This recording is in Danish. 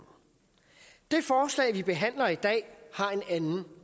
det forslag vi behandler i dag har en anden